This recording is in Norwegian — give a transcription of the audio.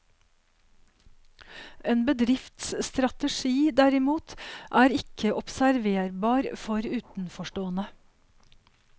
En bedrifts strategi, derimot, er ikke observerbar for utenforstående.